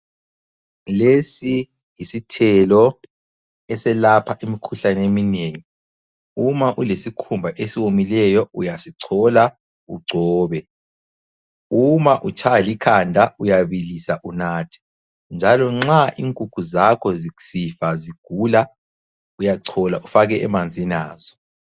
Lesi yisithelo eselapha imikhuhlane eminengi. Uma ulesikhumba esiwomileyo uyasichola ugcobe. Uma utshaywa likhanda, uyabilisa unathe njalo nxa inkukhu zakho zisifa zigula, uyachola ufake emanzini azo.